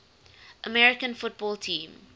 american football team